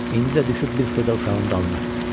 İndi də düşüb bir xırda uşağın dalınca.